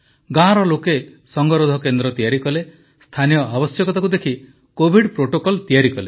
ଗାଁର ଲୋକେ ସଙ୍ଗରୋଧ କେନ୍ଦ୍ର ତିଆରି କଲେ ସ୍ଥାନୀୟ ଆବଶ୍ୟକତାକୁ ଦେଖି କୋଭିଡ଼ ପ୍ରୋଟୋକଲ୍ ତିଆରି କଲେ